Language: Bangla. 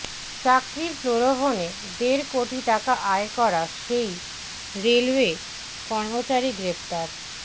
চাকরির প্রলোভনে দেড় কোটি টাকা আয় করা সেই রেলওয়ে কর্মচারী গ্রেফতার